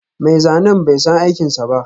Mai zanen bai san aikinsa ba